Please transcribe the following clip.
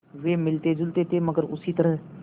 वे मिलतेजुलते थे मगर उसी तरह